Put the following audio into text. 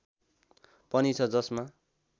पनि छ जसमा